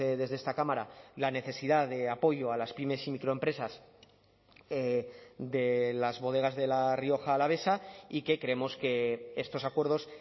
desde esta cámara la necesidad de apoyo a las pymes y microempresas de las bodegas de la rioja alavesa y que creemos que estos acuerdos